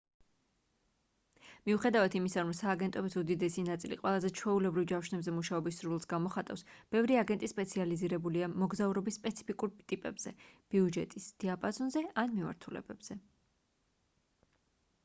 მიუხედავად იმისა რომ სააგენტოების უდიდესი ნაწილი ყველაზე ჩვეულებრივ ჯავშნებზე მუშაობის სურვილს გამოხატავს ბევრი აგენტი სპეციალიზირებულია მოგზაურობის სპეციფიკურ ტიპებზე ბიუჯეტის დიაპაზონზე ან მიმართულებებზე